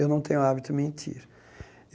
Eu não tenho hábito mentir.